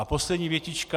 A poslední větička.